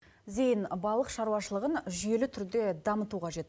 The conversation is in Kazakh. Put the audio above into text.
зейін балық шаруашылығын жүйелі түрде дамыту қажет